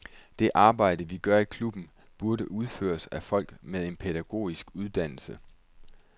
Det arbejde, vi gør i klubben, burde udføres af folk med en pædagogisk uddannelse.